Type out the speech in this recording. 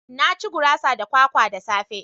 Na ci gurasa da kwakwa da safe